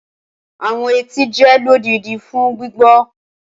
Awọn etí jẹ lodidi fun gbigbọ.